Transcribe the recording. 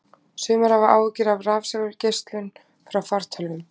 Sumir hafa áhyggjur af rafsegulgeislun frá fartölvum.